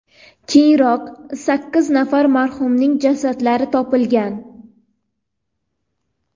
Keyinroq sakkiz nafar marhumning jasadlari topilgan.